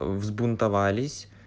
взбунтовались